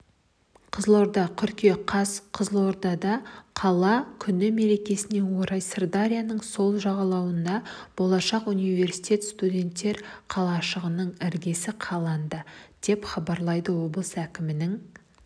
қызылорда қыркүйек қаз қызылордада қала күні мерекесіне орай сырдарияның сол жағалауынан болашақ университеті студенттер қалашығының іргесі қаланды деп хабарлады облыс әкімінің